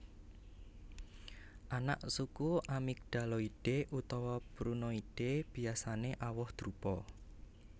Anaksuku Amygdaloideae utawa Prunoideae Biasané awoh drupa